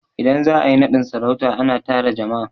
Idan za a yi naɗin sarauta, a na tara jama'a